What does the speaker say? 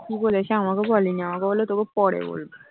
কি বলেছে আমাকে বলেনি আমাকে বললো তোকে পরে বলবো